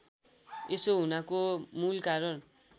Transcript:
यसो हुनाको मूलकारण